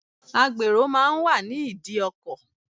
Agbèrò máa ń wà ní ìdí ọkọ̀.